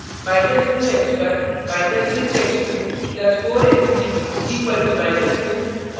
−2 x1 − 6 x2 + 4 x3 = −2